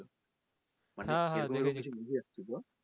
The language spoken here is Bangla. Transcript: হা হা দেখেছি